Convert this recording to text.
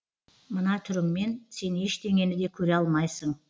мына түріңмен сен ештеңені де көре алмайсың